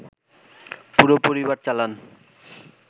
পুরো পরিবার চালান